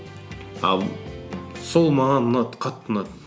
а сол маған ұнады қатты ұнады